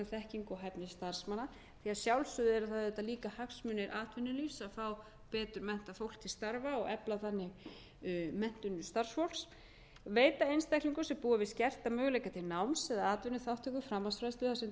og hæfni starfsmanna því að sjálfsögðu eru það auðvitað líka hagsmunir atvinnulífs að fá betur menntað fólk til starfa og efla þannig menntun starfsfólks e veita einstaklingum sem búa við skerta möguleika til náms eða atvinnuþátttöku framhaldsfræðslu þar sem tekið er